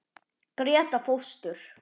Gréta fóstur.